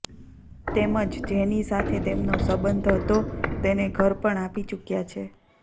તેમજ જેની સાથે તેમનો સંબંધ હતો તેને ઘર પણ આપી ચૂક્યા છે